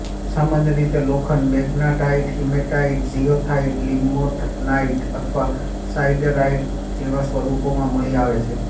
સામાન્ય રીતે લોખંડ મેગ્નેટાઇટ હિમેટાઇટ જીઓથાઇટ લિમોનાઇટ અથવા સાઇડરાઇટ જેવા સ્વરૂપોમાં મળી આવે છે